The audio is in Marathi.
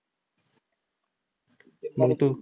मंग तू